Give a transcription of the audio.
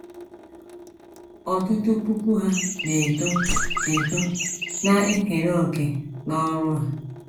Ọtụtụ puku Ha na - eto eto na - ekere òkè n’ọrụ a.